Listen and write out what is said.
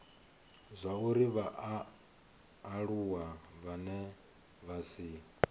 zwauri vhaaluwa vhane vha si